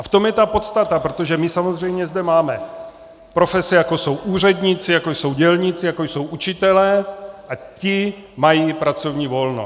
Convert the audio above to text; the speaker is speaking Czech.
A v tom je ta podstata, protože my samozřejmě zde máme profese, jako jsou úředníci, jako jsou dělníci, jako jsou učitelé, a ti mají pracovní volno.